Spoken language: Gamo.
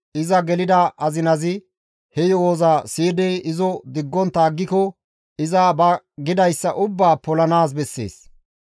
iza gelida azinazi he yo7oza siyidi izo diggontta aggiko iza ba gidayssa ubbaa polanaas bessees.